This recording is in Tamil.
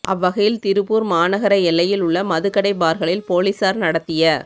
அவ்வகையில் திருப்பூர் மாநகர எல்லையில் உள்ள மதுக்கடை பார்களில் போலீசார் நடத்திய